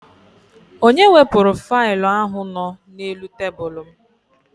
Onye wepụrụ failụ ahụ nọ n'elu tebụlụ m?